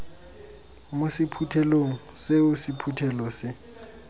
mo sephuthelong seo sephuthelo se